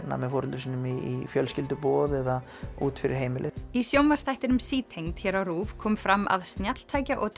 með foreldrum sínum í fjölskylduboð eða út fyrir heimilið í sjónvarpsþættinum sítengd hér á RÚV kom fram að snjalltækja og